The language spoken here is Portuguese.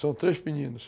São três meninos.